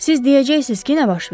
Siz deyəcəksiz ki, nə baş verib?